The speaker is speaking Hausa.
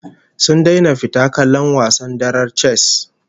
Sun daina fita kallon wasan darar chess